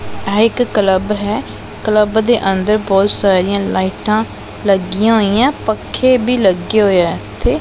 ਐ ਇੱਕ ਕਲੱਬ ਹੈ ਕਲੱਬ ਦੇ ਅੰਦਰ ਬਹੁਤ ਸਾਰੀਆਂ ਲਾਈਟਾਂ ਲੱਗੀਆਂ ਹੋਈਆਂ ਪੱਖੇ ਵੀ ਲੱਗੇ ਹੋਏ ਐ ਇੱਥੇ।